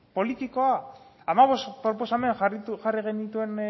politikoa hamabost proposamen jarri genituen